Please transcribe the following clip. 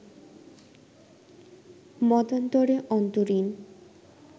মতান্তরে অন্তরীণ